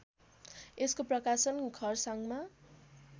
यसको प्रकाशन खरसाङमा